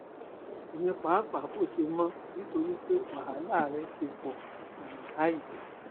èmi pàápàá kò ṣe mọ̀ ọ́ nítorí pé wàhálà rẹ ti pọ̀ ju báyìí